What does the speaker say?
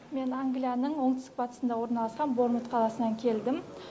мен англияның оңтүстік батысында орналасқан бормунт қаласынан келдім